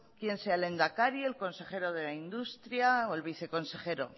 quien sea el lehendakari el consejero de industria o el viceconsejero